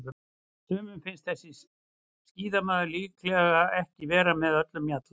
Sumum finnst þessi skíðamaður líklega ekki vera með öllum mjalla.